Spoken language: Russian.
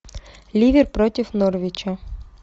ливер против норвича